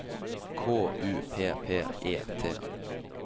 K U P P E T